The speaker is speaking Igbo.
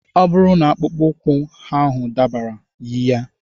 Ọ bụrụ na akpụkpọ ụkwụ ahụ dabara, yi ya.